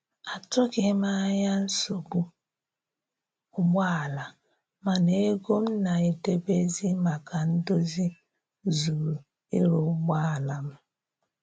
Atụghị m anya nsogbu ụgbọ ala, mana ego m na-edebezi maka ndozi zuru ịrụ ụgbọ ala m